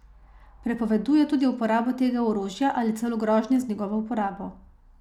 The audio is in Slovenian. Prepoveduje tudi uporabo tega orožja ali celo grožnje z njegovo uporabo.